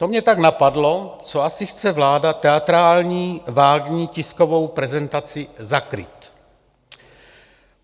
To mě tak napadlo, co asi chce vláda teatrální, vágní tiskovou prezentací zakrýt?